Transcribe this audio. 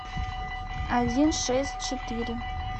один шесть четыре